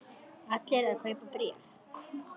Allir að kaupa bréf